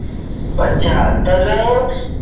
अच्छा तर